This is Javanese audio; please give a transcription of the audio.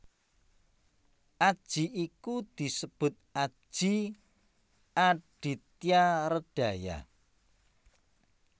Aji iku disebut Aji Adityaredhaya